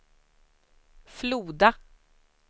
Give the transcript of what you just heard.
Floda